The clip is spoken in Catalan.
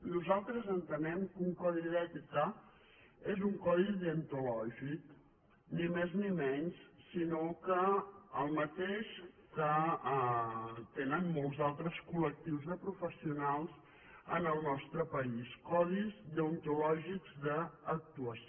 nosaltres entenem que un codi d’ètica és un codi deontològic ni més ni menys sinó que el mateix que tenen molts altres col·lectius de professionals en el nostre país codis deontològics d’actuació